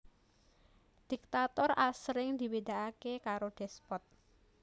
Diktator asring dibédaaké karo despot